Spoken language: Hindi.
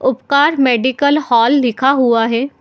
उपकार मेडिकल हॉल लिखा हुआ है।